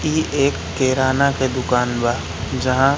ई एक किराना के दुकान बा जहां--